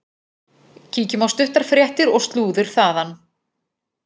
Kíkjum á stuttar fréttir og slúður þaðan.